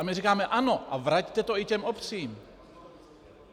A my říkáme ano, a vraťte to i těm obcím.